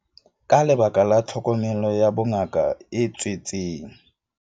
Ka lebaka la tlhokomelo ya bongaka e tswetseng